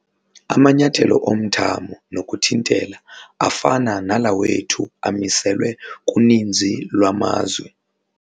Amanyathelo omthamo nokuthintela afana nala wethu amiselwe kuninzi lwamazwe.